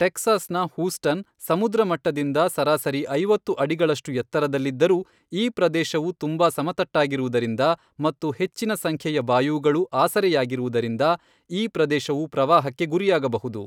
Texas ನ Houston, ಸಮುದ್ರ ಮಟ್ಟದಿಂದ ಸರಾಸರಿ ಐವತ್ತು ಅಡಿಗಳಷ್ಟು ಎತ್ತರದಲ್ಲಿದ್ದರೂ ಈ ಪ್ರದೇಶವು ತುಂಬಾ ಸಮತಟ್ಟಾಗಿರುವುದರಿಂದ ಮತ್ತು ಹೆಚ್ಚಿನ ಸಂಖ್ಯೆಯ ಬಾಯೂಗಳು ಆಸರೆಯಾಗಿರುವುದರಿಂದ ಈ ಪ್ರದೇಶವು ಪ್ರವಾಹಕ್ಕೆ ಗುರಿಯಾಗಬಹುದು.